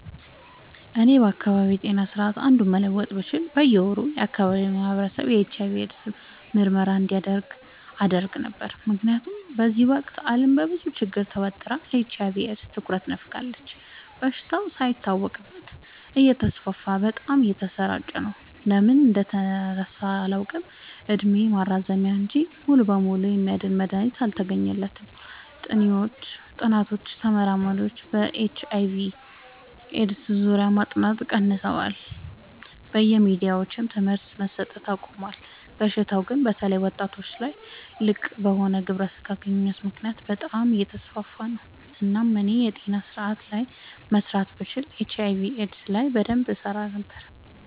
እኔ ከአካባቢዬ ጤና ስርዓት አንዱን መለወጥ ብችል በየ ወሩ የአካባቢው ማህበረሰብ የኤች/አይ/ቪ ኤድስ ምርመራ እንዲያደርግ አደረግ ነበር። ምክንያቱም በዚህ ወቅት አለም በብዙ ችግር ተወጥራ ለኤች/አይ/ቪ ኤድስ ትኩረት ነፋጋለች። በሽታው ሳይታወቅበት እተስፋፋ በጣም እየተሰራጨ ነው። ለምን እንደተረሳ አላውቅ እድሜ ማራዘሚያ እንጂ ሙሉ በሙሉ የሚያድን መድሀኒት አልተገኘለትም ጥኒዎችም ተመራማሪዎችም በኤች/አይ/ቪ ኤድስ ዙሪያ ማጥናት ቀንሰዋል በየሚዲያውም ትምህርት መሰት አቆሞል። በሽታው ግን በተለይ ወጣቶች ላይ ልቅበሆነ ግብረ ስጋ ግንኙነት ምክንያት በጣም አየተስፋፋ ነው። እናም እኔ የጤና ስረአቱ ላይ መስራት ብችል ኤች/አይ/ቪ ኤድስ ላይ በደንብ እሰራ ነበር።